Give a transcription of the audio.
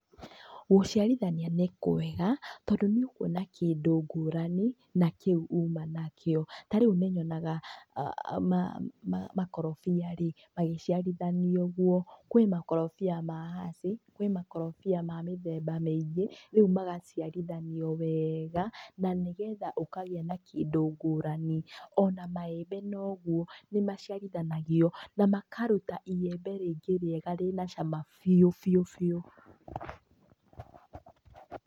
Gũciarithania nĩ kwega tondũ nĩ ũkũona kĩndũ ngũrani na kĩu uma nakĩo, ta rĩu nĩ nyonaga makorobia-rĩ magĩciarithanio ũgũo, kwĩ makorobia ma hasi, kwĩ makorobia ma mĩthemba mĩingĩ, rĩu magaciarithanio wega na nĩ getha ũkagĩa na kĩndũ ngũrani. Ona maembe nogũo nĩmaciarĩthanagĩo na makarũta iembe rĩngĩ rĩega rĩna cama biũ biũ biũ.